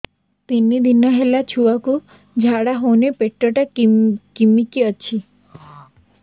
ତିନି ଦିନ ହେଲା ଛୁଆକୁ ଝାଡ଼ା ହଉନି ପେଟ ଟା କିମି କି ଅଛି